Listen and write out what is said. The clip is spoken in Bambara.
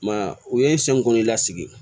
I m'a ye u ye kɔn'i lasigi